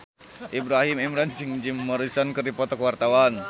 Ibrahim Imran jeung Jim Morrison keur dipoto ku wartawan